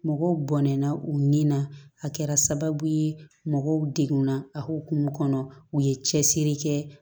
Mɔgɔw bɔnna u nin na a kɛra sababu ye mɔgɔw degunna a hukumu kɔnɔ u ye cɛsiri kɛ